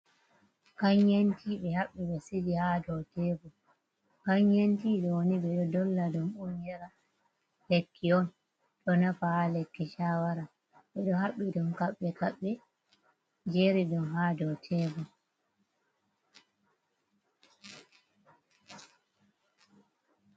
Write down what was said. Ganyetea be habbi be sigi ha do tebul, ganyentea doni be do dolla dum unyara lekki on do nafa ha lekki shawara be do habbi dom kabbe kabbe jeri dum ha do tebul.